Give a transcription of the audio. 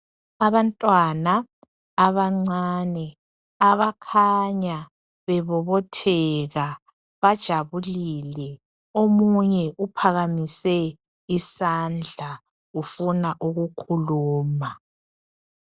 Abantwana abancane abakhanya bebobotheka bajabulile. Omunye uphakamise isandla ufuna ukukhuluma.